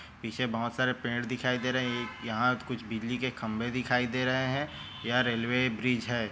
पीछे बहुत सारे पेड़ दिखाई दे रहे हैं एक यहाँ त--कुछ बिजली के खंभे दिखाई दे रहे हैं यहाँ रेलवे ब्रिज है।